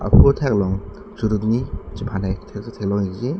phu athak along churini chephan het asonsi theklong ikji.